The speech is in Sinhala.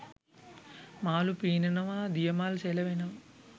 මාළු පීනනවා දිය මල් සෙලවෙනවා